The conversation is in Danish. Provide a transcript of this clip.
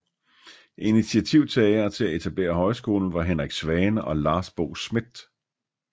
Initiativtagere til at etablere højskolen var Henrik Svane og Lars Bo Smith